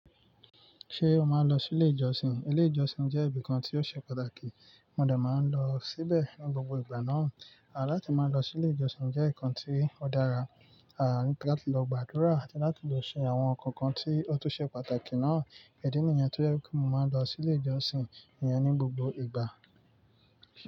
Ṣé o máa ń lọ sí ilé ìjọsìn? Ilé ìjọsìn jẹ́ ibìkan tí ó ṣe pàtàkì, mo dà má ń lọ síbẹ̀ ní gbogbo ìgbà náà. À láti máa lọ sí ilé ìjọsìn jẹ́ ǹkan tí ó dára, à láti lọ gbàdúrà àti láti lọ ṣe àwọn ǹkan kan tí ó tó ṣe pàtàkì náà. Idí nìyẹn tó jẹ́ kí mo máa ń lọ sí ilé ìjọsìn yẹn ní gbogbo ìgbà.